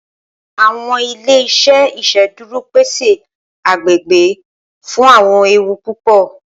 Awọn ile-iṣẹ iṣeduro pese agbegbe fun awọn ewu pupọ.